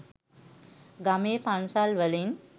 ගමේ පන්සල් වලින්